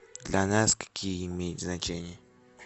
для нас какие имеет значение